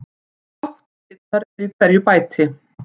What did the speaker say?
Átta bitar eru í hverju bæti.